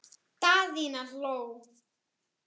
Daðína hló.